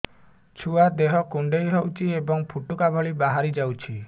ଛୁଆ ଦେହ କୁଣ୍ଡେଇ ହଉଛି ଏବଂ ଫୁଟୁକା ଭଳି ବାହାରିଯାଉଛି